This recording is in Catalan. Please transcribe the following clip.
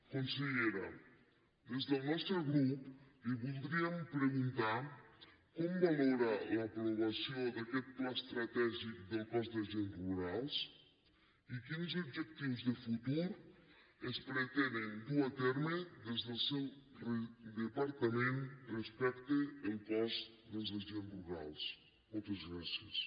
consellera des del nostre grup li voldríem preguntar com valora l’aprovació d’aquest pla estratègic del cos d’agents rurals i quins objectius de futur es pretenen dur a terme des del seu departament respecte al cos dels agents rurals moltes gràcies